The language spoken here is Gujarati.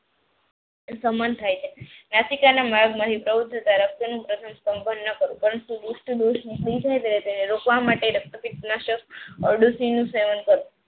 શમન થાય છે. નાશિકાના માર્ગમાંથી રોકવા માટે રક્તપિત નાશક અરડૂસી નું સેવન કરવું.